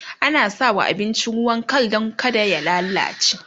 ana sawa abinci ruwan Kal Dan kada ya lallace